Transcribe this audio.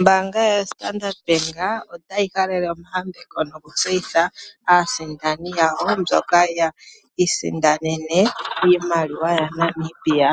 Ombaanga yoStandard Bank otayi halele omayambeko nokutseyitha aasindani yayo mboka yi isindanene iimaliwa yaNamibia.